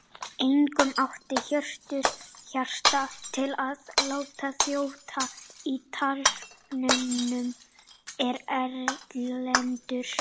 Einkum átti Hjörtur Hjartar til að láta þjóta í tálknunum, en Erlendur